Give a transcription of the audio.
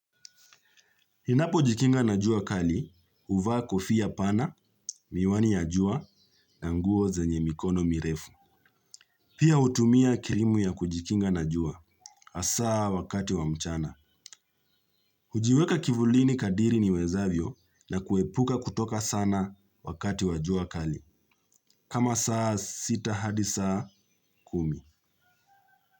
Ninapo jikinga na jua kali, uvaa kofia pana, miwani ya jua na nguo zenye mikono mirefu. Pia utumia kirimu ya kujikinga na jua, asaa wakati wa mchana. Ujiweka kivulini kadiri niwezavyo na kuepuka kutoka sana wakati wa jua kali. Kama saa sita hadi saa kumi.